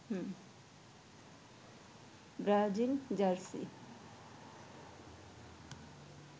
Brazil jersey